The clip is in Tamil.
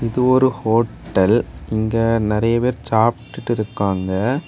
இது ஒரு ஹோட்டல் இங்க நறைய பேர் சாப்பிட்டுட்டு இருக்காங்க.